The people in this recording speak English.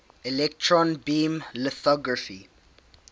electron beam lithography